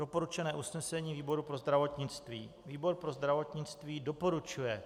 Doporučené usnesení výboru pro zdravotnictví: Výbor pro zdravotnictví doporučuje